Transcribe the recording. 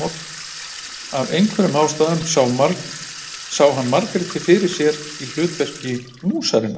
Af einhverjum ástæðum sá hann Margréti fyrir sér í hlutverki músarinnar.